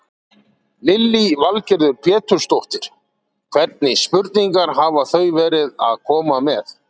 Lillý Valgerður Pétursdóttir: Hvernig spurningar hafa þau verið að koma með?